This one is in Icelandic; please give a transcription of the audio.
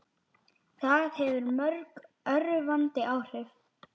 Það hefur mjög örvandi áhrif.